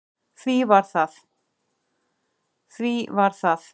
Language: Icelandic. Því var það